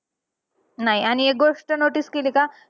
नाही आणि एक गोष्ट notice केली का?